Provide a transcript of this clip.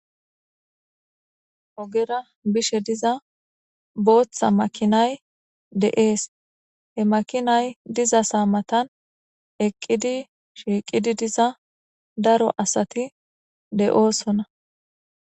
Ogera bishe diza booththa makinay de7ees he makinay diza saa matan eqqidi shiiqidi diza daro asati de7oosona.